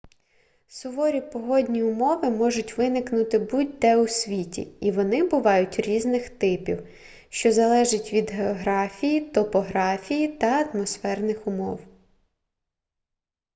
суворі погодні умови можуть виникнути будь-де у світі і вони бувають різних типів що залежить від географії топографії та атмосферних умов